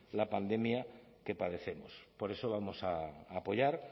la pandemia que padecemos por eso vamos a apoyar